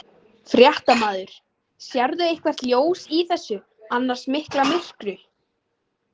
Fréttamaður: Sérðu eitthvert ljós í þessu annars mikla myrkri?